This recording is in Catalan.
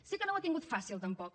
sé que no ho ha tingut fàcil tampoc